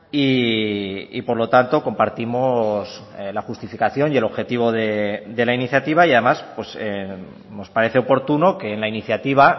y por lo tanto compartimos la justificación y el objetivo de la iniciativa y además nos parece oportuno que en la iniciativa